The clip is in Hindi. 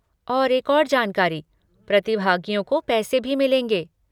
और एक और जानकारी, प्रतिभागियों को पैसे भी मिलेंगे।